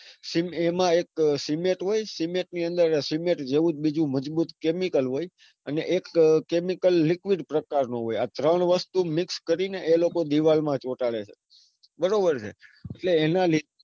Same એમાં એક cement હોય cement ની અંદર cement જેવું જ બીજું મજબૂત chemical હોય અને એક chemical liquid પ્રકારનું હોય આ ત્રણ વસ્તુ મિક્સ કરીને એ લોકો દીવાલ પર ચોંટાડે છે. બરાબર છે.